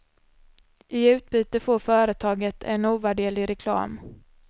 I utbyte får företaget en ovärderlig reklam.